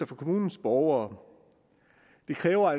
for kommunens borgere der kræver